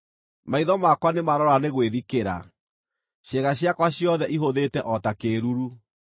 Maitho makwa nĩ maroora nĩ gwĩthikĩra; ciĩga ciakwa ciothe ihũthĩte o ta kĩĩruru.